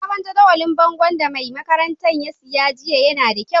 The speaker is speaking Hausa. Sabon jadawalin bongon da mai makarantan ta siya jiya na da kyau.